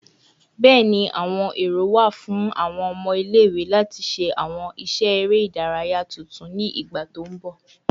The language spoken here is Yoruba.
Bẹẹni, awọn ero wa fun awọn ọmọ ile-iwe lati ṣe awọn iṣẹ ere idaraya tuntun ni igba to nbọ